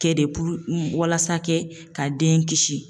Kɛ de puru walasa kɛ ka den kisi.